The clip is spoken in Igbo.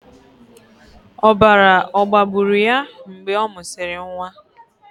Ọbara ọ̀ gbagburu ya mgbe ọ mụsịrị nwa?